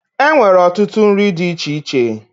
E nwere ọtụtụ nri dị iche iche.